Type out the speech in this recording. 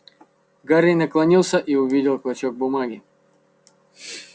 гарри наклонился и увидел клочок бумаги